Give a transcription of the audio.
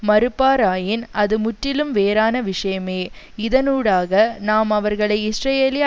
மறுப்பாராயின் அது முற்றிலும் வேறான விஷயமே இதனூடாக நாம் அவர்களை இஸ்ரேலிய